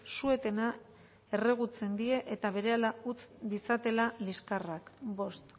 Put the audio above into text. su etena erregutzen die eta berehala utz ditzatela liskarrak bost